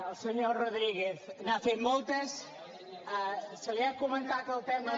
al senyor rodríguez n’ha fet moltes se li ha comentat el tema